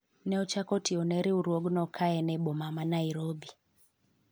ne ochako tiyo ne riwruogno ka en e boma ma Nairobi